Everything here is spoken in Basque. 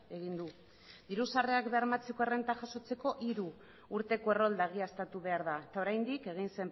egin du diru sarrerak bermatzeko errenta jasotzeko hiru urteko errolda egiaztatu behar da eta oraindik egin